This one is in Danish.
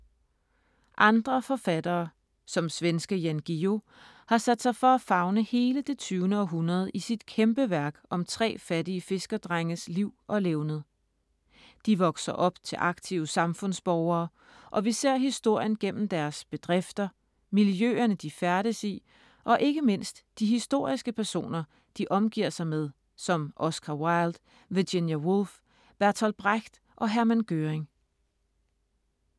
Andre forfattere, som svenske Jan Guillou, har sat sig for at favne hele det tyvende århundrede i sit kæmpeværk om tre fattige fiskerdrenges liv og levned. De vokser op til aktive samfundsborgere og vi ser historien gennem deres bedrifter, miljøerne de færdes i og ikke mindst de historiske personer, de omgiver sig med som Oscar Wilde, Virginia Woolf, Bertolt Brecht og Herman Göring.